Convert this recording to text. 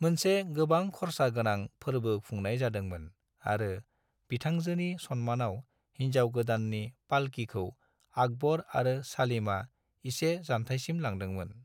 मोनसे गोबां खरसा गोनां फोरबो खुंनाय जादोंमोन आरो बिथांजोनि सन्मानाव हिनजाव गोदाननि पालकीखौ आकबर आरो सलीमआ इसे जानथायसिम लांदोंमोन।